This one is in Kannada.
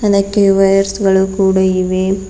ಅನೇಕ ವೈಯರ್ಸ್ ಗಳು ಕೂಡ ಇವೆ.